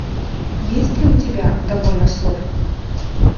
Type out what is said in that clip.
есть ли у тебя довольно слов